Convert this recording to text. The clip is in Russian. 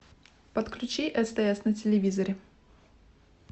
подключи стс на телевизоре